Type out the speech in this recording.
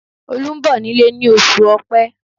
Olu ń bọ̀ nílé ní oṣù ọpẹ́